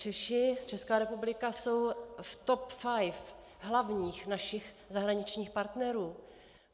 Češi, Česká republika jsou v TOP 5 hlavních našich zahraničních partnerů.